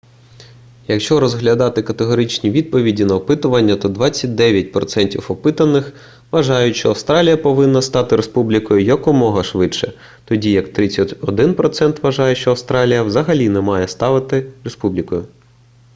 якщо розглядати категоричні відповіді на опитування то 29% опитаних вважають що австралія повинна стати республікою якомога швидше тоді як 31% вважає що австралія взагалі не має ставати республікою